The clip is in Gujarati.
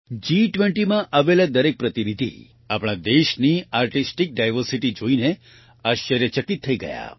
G20માં આવેલા દરેક પ્રતિનિધિ આપણા દેશની આર્ટિસ્ટિક ડાયવર્સિટી જોઈને આશ્ચર્યચકિત થઈ ગયા